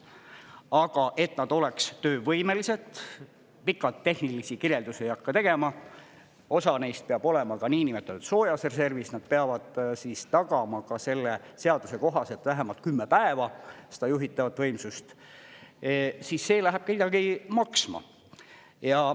Aga et nad oleksid töövõimelised – pikalt tehnilisi kirjeldusi ei hakka tegema, osa neist peab olema ka niinimetatud soojas reservis, nad peavad tagama ka selle seaduse kohaselt vähemalt 10 päeva seda juhitavat võimsust –, siis see läheb midagi maksma.